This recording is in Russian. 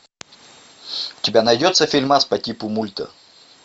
у тебя найдется фильмас по типу мульта